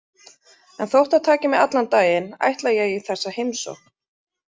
En þótt það taki mig allan daginn ætla ég í þessa heimsókn.